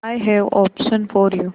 I have option for you